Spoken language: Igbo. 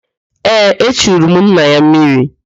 Ee, echuru m nna ya mmiri